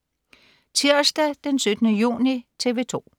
Tirsdag den 17. juni - TV 2: